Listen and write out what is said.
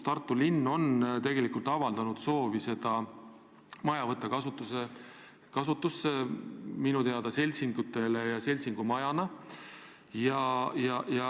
Tartu linn on minu teada avaldanud soovi võtta see hoone kasutusse seltsingute majana.